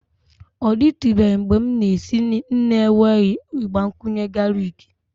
Ọ dịtụbeghị mgbe m na-esi nri n'enweghị ịgbakwunye galiki